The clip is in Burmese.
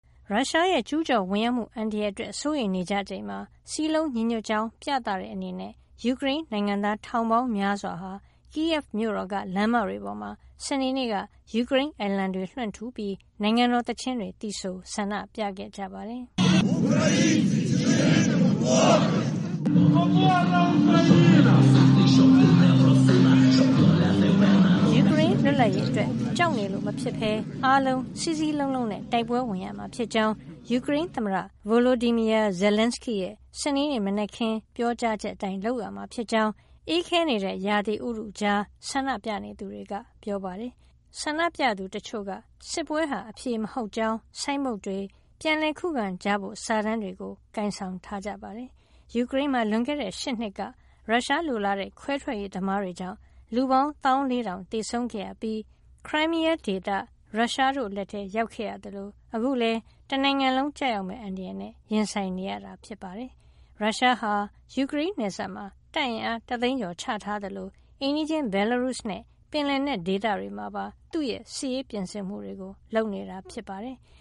ရုရှားရဲ့ ကျူးကျော်ဝင်ရောက်မှု အန္တရာယ်အတွက် စိုးရိမ်နေကြချိန်မှာ စည်းလုံးညီညွတ်ကြောင်း ပြသတဲ့အနေနဲ့ ယူကရိန်းနိုင်ငံသား ထောင်ပေါင်းများစွာဟာ Kyiv မြို့တော်က လမ်းမတွေပေါ်မှာ စနေနေ့က ယူကရိန်းအလံတွေ လွှင့်ထူပြီး နိုင်ငံတော်သီချင်းတွေ သီဆို ဆန္ဒပြခဲ့ကြပါတယ်။ ယူကရိန်းလွတ်လပ်ရေးအတွက် ကြောက်နေလို့မဖြစ်ဘဲ အားလုံး စည်းစည်းလုံးလုံးနဲ့ တိုက်ပွဲဝင်ရမှာဖြစ်ကြောင်း ယူကရိန်းသမ္မတ Volodymyr Zelensky ရဲ့ စနေနေ့ မနက်ခင်းက ပြောကြားချက်အတိုင်း လုပ်ရမှာဖြစ်ကြောင်း အေးခဲနေတဲ့ ရာသီဥတုကြား ဆန္ဒပြနေသူတွေက ပြောပါတယ်။ ဆန္ဒပြသူတချို့က စစ်ပွဲဟာ အဖြေမဟုတ်ကြောင်း ဆိုင်းဘုတ်တွေ၊ ပြန်လည်ခုခံကြဖို့ စာတန်းတွေကို ကိုင်ဆောင်ထားကြတာပါ။ ယူကရိန်းမှာ လွန်ခဲ့တဲ့ ၈ နှစ်က ရုရှားလိုလားတဲ့ ခွဲထွက်ရေးသမားတွေကြောင့် လူပေါင်း ၁၄,၀၀၀ သေဆုံးခဲ့ရပြီး Crimea ဒေသ ရုရှားတို့လက်ထဲ ရောက်ခဲ့ရသလို အခုလည်း တနိုင်ငံလုံး ကျရောက်မယ့် အန္တရာယ်နဲ့ ရင်ဆိုင်နေရတာပါ။ ရုရှားဟာ ယူကရိန်းနယ်စပ်မှာ တပ်အင်အား ၁ သိန်းကျော် ချထားသလို အိမ်နီးချင်း ဘယ်လာရုစ်နဲ့ ပင်လယ်နက်ဒေသတွေမှာပါ သူ့ရဲ့ စစ်ရေးပြင်ဆင်မှုတွေ လုပ်နေတာ ဖြစ်ပါတယ်။